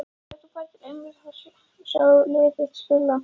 Hefur þú farið til Englands að sjá lið þitt spila?